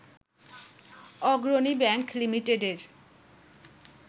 অগ্রণী ব্যাংক লিমিটেডের